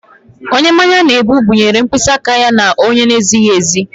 Onye mmanya na-egbu ọ binyeere mkpịsị aka ya onye na-ezighi ezi?